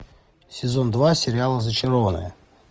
сезон два сериала зачарованные